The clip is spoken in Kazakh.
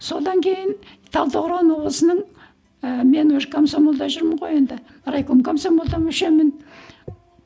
содан кейін талдықорған облысының ы мен уже комсомолда жүрмін ғой енді райком комсомолда мүшемін